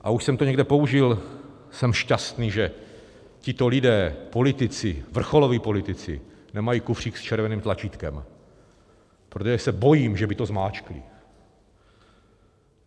A už jsem to někde použil - jsem šťastný, že tito lidé, politici, vrcholoví politici, nemají kufřík s červeným tlačítkem, protože se bojím, že by to zmáčkli.